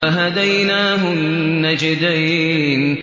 وَهَدَيْنَاهُ النَّجْدَيْنِ